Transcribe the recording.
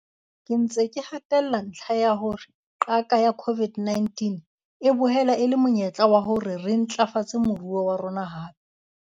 Ke ntse ke hatella ntlha ya hore qaka ya COVID-19 e boela e le monyetlo wa hore re ntlafatse moruo wa rona hape.